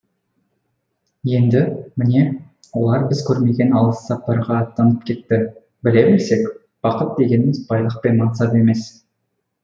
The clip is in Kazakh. енді міне олар біз көрмеген алыс сапарға аттанып кетті біле білсек бақыт дегеніміз байлық пен мансап емес